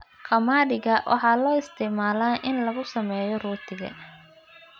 Qamadiga waxaa loo isticmaalaa in lagu sameeyo rootiga.